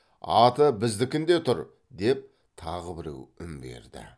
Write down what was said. аты біздікінде тұр деп тағы біреу үн берді